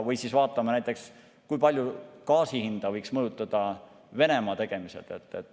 Või vaatame näiteks, kui palju võiksid gaasi hinda mõjutada Venemaa tegemised.